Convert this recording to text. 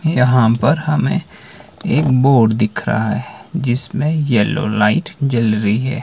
यहां पर हमें एक बोर्ड दिख रहा है जिसमें येलो लाइट जल रही है।